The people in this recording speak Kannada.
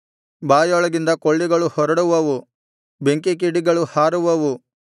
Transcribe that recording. ಬಾಯೊಳಗಿಂದ ಕೊಳ್ಳಿಗಳು ಹೊರಡುವವು ಬೆಂಕಿಕಿಡಿಗಳು ಹಾರುವವು